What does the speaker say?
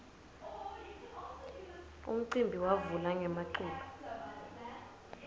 umcimbi wavula ngemaculo